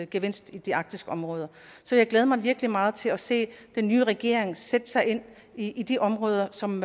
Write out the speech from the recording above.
gevinst i de arktiske områder så jeg glæder mig virkelig meget til at se den nye regering sætte sig ind i de områder som